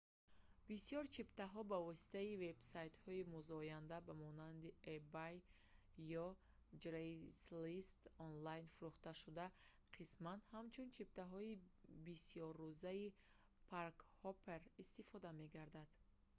бисёр чиптаҳо ба воситаи вебсайтҳои музояда ба монанди ebay ё craigslist онлайн фурӯхта шуда қисман ҳамчун чиптаҳои бисёррӯзаи «park-hopper» истифода мегарданд